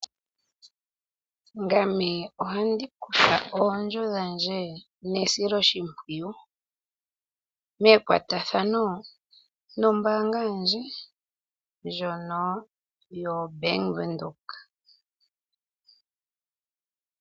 Ngame oha ndi kutha oodjo dhandje ne siloshimpwiyu mekwatathano nombaanga yandje ndjono yoBank-Windhoek.